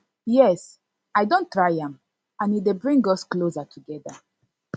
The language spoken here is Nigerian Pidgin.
yes i don try am and e dey bring us closer together